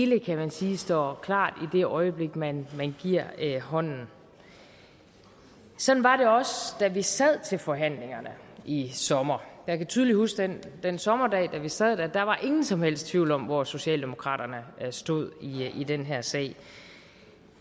kan man sige står klart i det øjeblik man giver hånden sådan var det også da vi sad til forhandlingerne i sommer jeg kan tydeligt huske den sommerdag da vi sad der og der var ingen som helst tvivl om hvor socialdemokratiet stod i den her sag